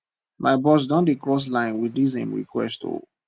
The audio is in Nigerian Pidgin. my boss don dey cross line wit dis im request o